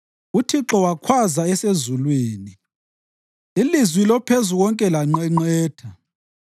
UThixo wakhwaza esezulwini; ilizwi loPhezukonke lanqenqetha.